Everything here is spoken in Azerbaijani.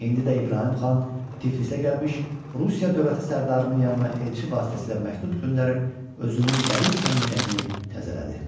İndi də İbrahim xan Tiflisə gəlmiş, Rusiya dövləti sərdarının yanına elçi vasitəsilə məktub göndərib, özünün qədim səmimiyyətini təzələdi.